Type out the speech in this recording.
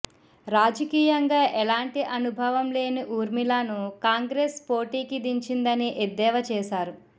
రాజకీయంగా ఎలాంటి అనుభవం లేని ఊర్మిళాను కాంగ్రెస్ పోటీకి దించిందని ఎద్దేవా చేశారు